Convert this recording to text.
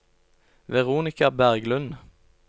Veronika Berglund